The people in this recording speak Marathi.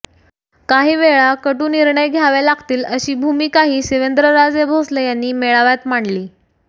काहीवेळा कटू निर्णय घ्यावे लागतील अशी भूमिकाही शिवेंद्रराजे भोसले यांनी मेळाव्यात मांडली